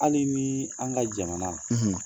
Hali ni an ka jamana